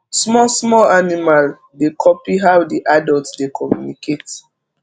small small animal dey copy how the adult dey communicate